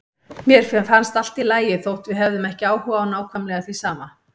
Mér fannst allt í lagi þótt við hefðum ekki áhuga á nákvæmlega því sama.